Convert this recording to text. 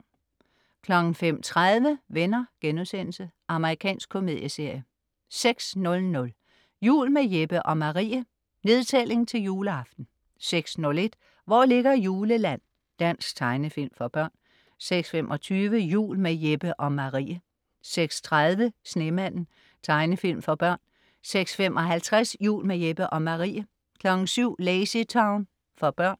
05.30 Venner.* Amerikansk komedieserie 06.00 Jul med Jeppe og Marie. Nedtælling til juleaften 06.01 Hvor ligger Juleland?. Dansk tegnefilm for børn 06.25 Jul med Jeppe og Marie 06.30 Snemanden. Tegnefilm for børn 06.55 Jul med Jeppe og Marie 07.00 LazyTown. For børn